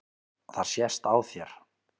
Það sést á þér